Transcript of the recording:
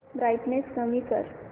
brightness कमी कर